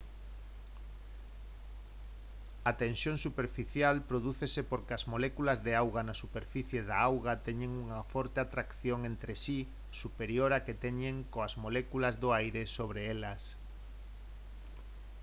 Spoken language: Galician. a tensión superficial prodúcese porque as moléculas de auga na superficie da auga teñen unha forte atracción entre si superior á que teñen coas moléculas do aire sobre elas